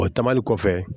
O ta mali kɔfɛ